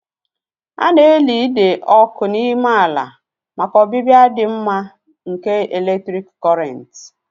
A na-eli ide ọkụ n'ime ala maka ọbịbịa dị mma nke eletrik Kọrịnt